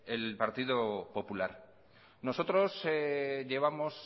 el partido popular nosotros llevamos